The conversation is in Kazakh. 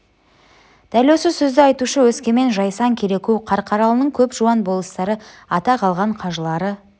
дәл осы сөзді айтушы өскемен жайсаң кереку қарқаралының көп жуан болыстары атақ алған қажылары